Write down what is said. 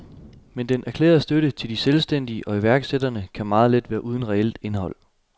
Men den erklærede støtte til de selvstændige og iværksætterne kan meget let være uden reelt indhold.